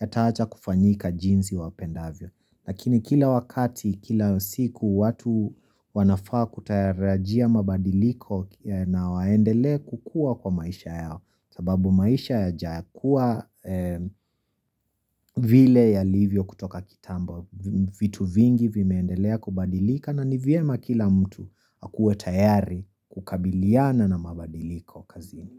yataacha kufanyika jinsi wapendavyo lakini kila wakati kila siku watu wanafaa kutayarajia mabadiliko na waendele kukua kwa maisha yao sababu maisha yajakuwa vile yalivyo kutoka kitambo vitu vingi vimeendelea kubadilika na nivyema kila mtu hakuwe tayari kukabiliana na mabadiliko kazini.